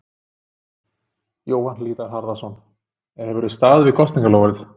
Jóhann Hlíðar Harðarson: En hefðir þú staðið við þitt kosningaloforð?